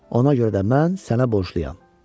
Ona görə də mən sənə borcluyam.